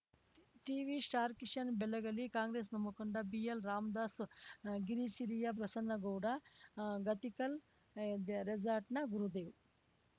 TV star Kishan Belagali Congress ಮುಖಂಡ B L Ram Das ಗಿರಿಸಿರಿಯ ಪ್ರಸನ್ನಗೌಡ ಗತಿಕಲ್‌ ರೇಸಾರ್ಟ್‌ನ ಗುರುದೇವ್‌